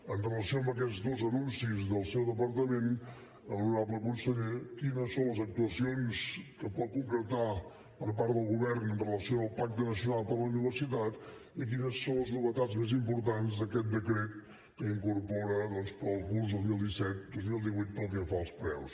en relació amb aquests dos anuncis del seu departament honorable conseller quines són les actuacions que pot concretar per part del govern en relació amb el pacte nacional per a la universitat i quines són les novetats més importants d’aquest decret que incorpora doncs per al curs dos mil disset dos mil divuit pel que fa als preus